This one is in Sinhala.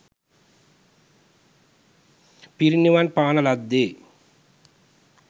පිරිනිවන් පාන ලද්දේ